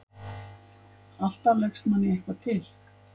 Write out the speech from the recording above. Alltaf leggst manni eitthvað til.